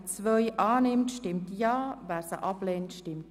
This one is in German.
Sie haben die Planungserklärung 2 angenommen.